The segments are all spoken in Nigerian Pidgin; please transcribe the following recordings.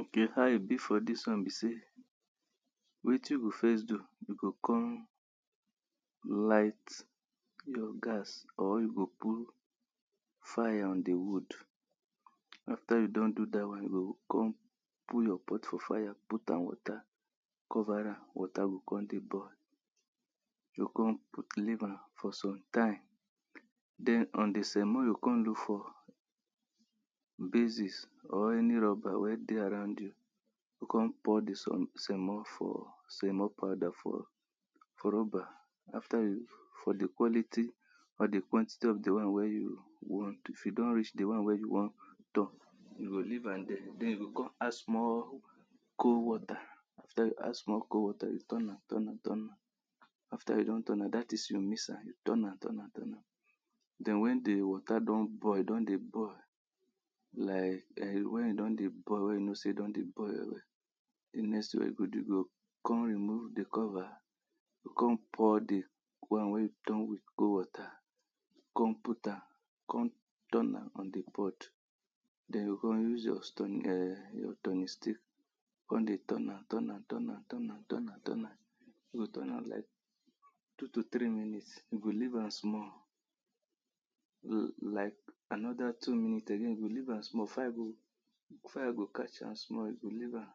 ok how e be for dis won be say wetin we first do we go con light your gas or you go put fire on di wood after you don do dat won you kon put your pot for fire put am water cover am water go kon dey boil you go kon leave am for sometime on den on di semo you go kon look for basis or any rubber wey dey aroud you, kon pour di semo for semo powder for rubber after di for di quality for di quantity of di one wey you want if e don reach di won wey you wan you go leave am there, den you go kon add small col water after you add small col water, you turn am turn am turn am after you don turn am dat is you mix am turn am turn am turn am den wen di water don boil, wen e don dey boi you know sey e don dey boil wel wel, you go kon remove di cover kon pour di won wey turn wit col water dey with water kon put am kon turn am on di pot, den you o kon use your turning um turning stick kon dey turn am turn am turn am turn am turn am turn am you o turn am two to three minutes, you go leave am small li-like anoda two minute again you go leave am small fire go fire go catch am small if you leave am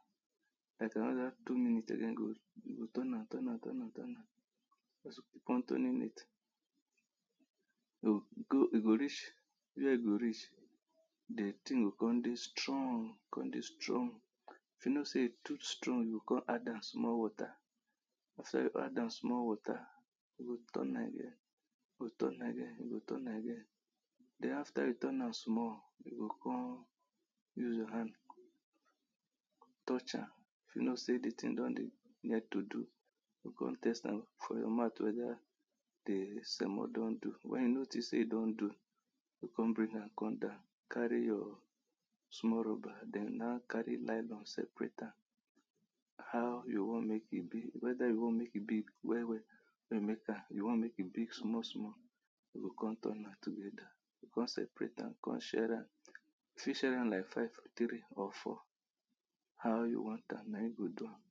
like anoda two minute again you o turn am turn am turn am after turning it e go reach where e go reach di tin o kon dey strong kon dey strong if you kow sey e too strong den you go con add am small water after you add am small water you go turn am again you go turn am again you go turn am again den after you turn am small you o kon use your hand touch am if you know sey di tin don like to do, you o kon put am for your mouth weda d semo don do. wen you notice ey e don do, you o come bring am come down carry your small rubber den na carry small nylon seprate am how you want mek e be weda yu wan mek e big wel wel or you make am you want mek e big small you o kon turn am together kon seperete am kon share am you fit share am like five or four how you want am na im go do am